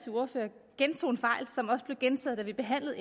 som også blev gentaget da vi behandlede